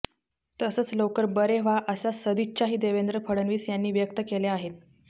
तसंच लवकर बरे व्हा अशा सदिच्छाही देवेंद्र फडणवीस यांनी व्यक्त केल्या आहेत